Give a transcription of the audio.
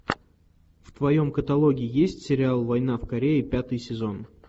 в твоем каталоге есть сериал война в корее пятый сезон